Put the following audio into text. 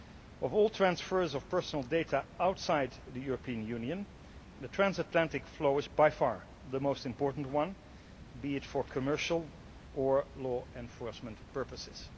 Of all transfers of personal data outside the European Union, the transatlantic flow is by far the most important one, be it for commercial or law enforcement purposes.